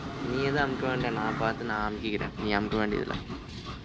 நீ ஏதும் அமுக்க வேண்டாம் நான் பார்த்து நான் அமுக்கிக்கிறேன் நீ அமுக்க வேண்டியதில்லை